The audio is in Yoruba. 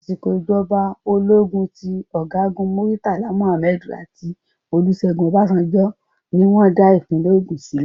Àsìkò ìjọba ológun ti ọ̀gágu Murtala Muhammed àti ọ̀gágun Olúṣẹ́gun Ọbasanjo ní wọ́n dá ìpínlẹ̀ Ogùn sílẹ̀.